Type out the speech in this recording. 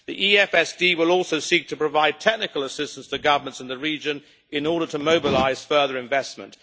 The EFSD will also seek to provide technical assistance to governments in the region in order to mobilise further investment.